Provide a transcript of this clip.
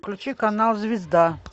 включи канал звезда